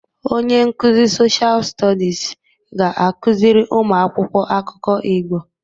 Onye nkuzi soshal stodis ga-akụziri ụmụ akwụkwọ akụkọ Igbo.